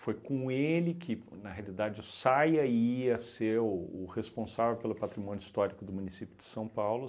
Foi com ele que, na realidade, o Saia ia ser o o responsável pelo patrimônio histórico do município de São Paulo.